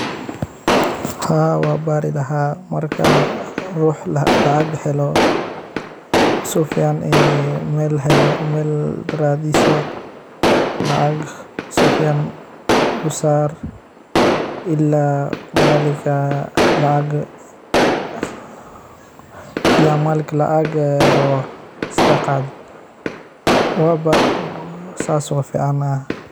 Haa waa bari laha marka rux lacag helo su fican mel helo ,mel radiso lacag si fican u sar ila malinka lacag rabo iska qado sas waa ficanaha.